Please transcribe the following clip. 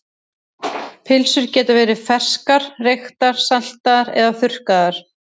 Pylsur geta verið ferskar, reyktar, saltaðar eða þurrkaðar.